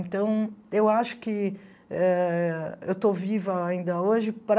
Então, eu acho que eh eu estou viva ainda hoje para...